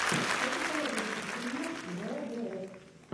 что посоветуешь из стримов вгс